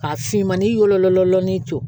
Ka finmani wololɔnin to